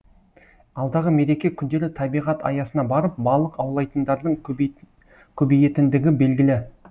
алдағы мереке күндері табиғат аясына барып балық аулайтындардың көбейетіндігі белгілі